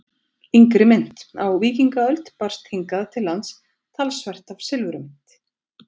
Yngri mynt Á víkingaöld barst hingað til lands talsvert af silfurmynt.